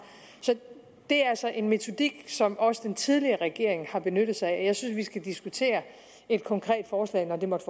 så det er altså en metodik som også den tidligere regering har benyttet sig af jeg synes vi skal diskutere et konkret forslag når det måtte